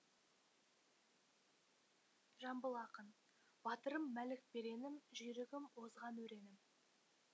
жамбыл ақын батырым мәлік беренім жүйрігім озған өренім